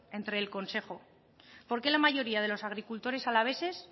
entre el consejo por qué la mayoría de los agricultores alaveses